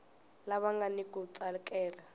lava nga ni ku tsakela